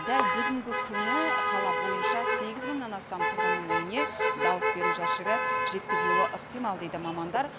дәл бүгінгі күні қала бойынша сегіз мыңнан астам түрғынның үйіне дауыс беру жәшігі жеткізілуі ықтимал дейді мамандар